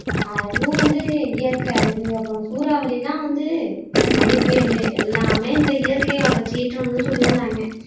அதுவும் வந்து இயற்கை அழிவு அப்பறம் சூறாவளி எல்லாம் வந்து இந்த பனிப்புயலு எல்லாமே இந்த இயற்கையோட சீற்றம்னு சொல்லிக்கிறாங்க